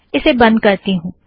इसे बंध करती हूँ